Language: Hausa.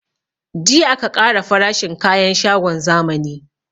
Jiya aka ƙara farashin kayan shagon zamani